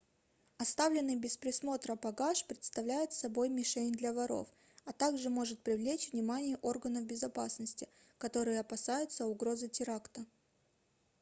оставленный без присмотра багаж представляет собой мишень для воров а также может привлечь внимание органов безопасности которые опасаются угрозы теракта